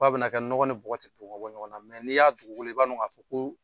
Fo a be na kɛ nɔkɔ ni bɔkɔ ti dɔn ka bɔ ɲɔgɔn na ni y'a dugukolo ye i b'a dɔn ka fɔ ko